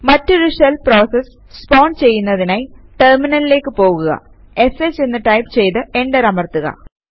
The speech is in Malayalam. മറ്റൊരു ഷെൽ പ്രോസസ് സ്പോൺ ചെയ്യുന്നതിനായി ടെർമിനലിലേക്ക് പോകുക ഷ് എന്ന് ടൈപ് ചെയ്ത് എന്റർ അമർത്തുക